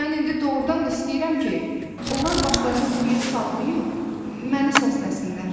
Mən indi doğrudan da istəyirəm ki, onlar başlarını quyuya sallayıb, məni səsləsinlər.